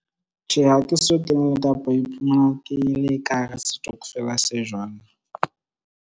Tjhe, ha ke so kene kapa ho iphumana ke le ka hara setokofela se jwalo.